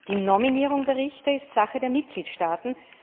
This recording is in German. Die Nominierung der Richter ist Sache der Mitgliedstaaten.